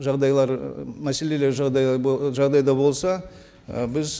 жағдайлар ы мәселелер жағдай жағдайда болса ы біз